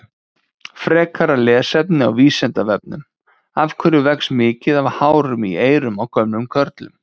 Frekara lesefni á Vísindavefnum: Af hverju vex mikið af hárum í eyrum á gömlum körlum?